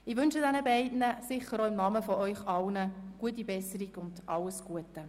Ich wünsche den beiden, sicher auch in Ihrer aller Namen, gute Besserung und alles Gute.